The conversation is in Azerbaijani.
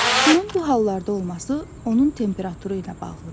Suyun bu hallarda olması onun temperaturu ilə bağlıdır.